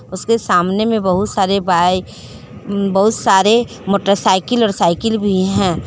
उसके सामने में बहुत सारे बाइक बहुत सारे मोटर साइकिल और साइकिल भी हैं ।